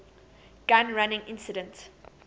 gun running incident